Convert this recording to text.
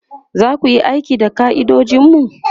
zaku Yi aiki da ka'idojinmu?